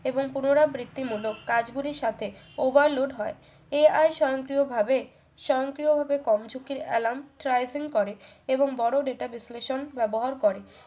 এবং পুনরাবৃত্তিমূলক কাজ গুলির সাথে over load হয় AI স্বয়ংক্রিয়ভাবে স্বয়ংক্রিয়ভাবে কর্মঝুঁকির alarm trijan করে এবং বড়ো data বিশ্লেষণ ব্যবহার করে